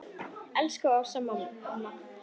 Elsku Ása amma.